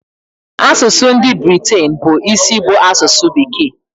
Asụsụ ndị Britain bụ isi bụ asụsụ bekee.